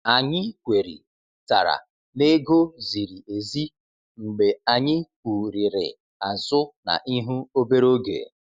Anyị kwerị tara n'ego ziri ezi mgbe anyị kwurịrị azụ na ihu obere oge.